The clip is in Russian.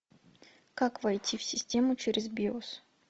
как войти в систему через биос